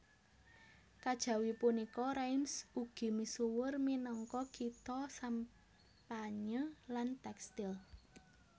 Kajawi punika Reims ugi misuwur minangka kitha sampanye lan tèkstil